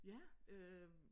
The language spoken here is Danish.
Ja øh